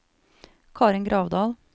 Karin Gravdal